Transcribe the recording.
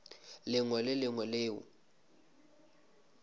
lengwe le le lengwe leo